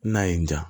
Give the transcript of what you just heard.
N'a y'i diya